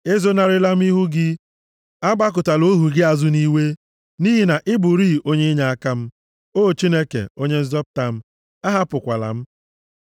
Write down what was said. Ezonarịla m ihu gị, agbakụtala ohu gị azụ nʼiwe; nʼihi na ị bụrịị onye inyeaka m. O Chineke, Onye nzọpụta m, ahapụkwala m.